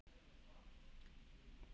Amma mín, elsku amma.